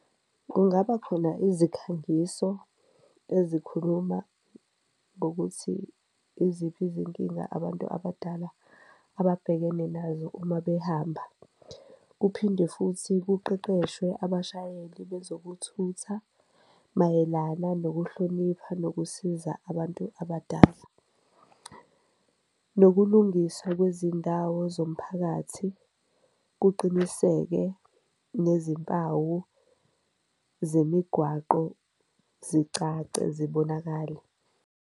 Kungaba khona izikhangiso ezikhuluma ngokuthi iziphi izinkinga abantu abadala ababhekene nazo uma behamba, kuphinde futhi kuqeqeshwe abashayeli bezokuthutha mayelana nokuhlonipha nokusiza abantu abadala. Nokulungiswa kwezindawo zomphakathi kuqiniseke nezimpawu zemigwaqo zicace, zibonakale.